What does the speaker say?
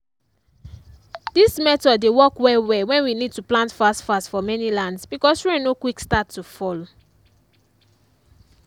this method dey work well well when we need to plant fast fast for many lands because rain no quick start to fall.